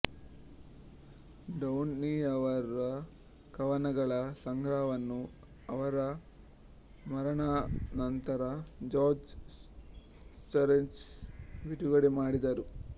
ಡೌನಿಯವರ ಕವನಗಳ ಸಂಗ್ರಹವನ್ನು ಅವರ ಮರಣಾನಂತರ ಜಾರ್ಜ್ ಸ್ಜಿರಟ್ಸ್ ಬಿಡುಗಡೆ ಮಾಡಿದರು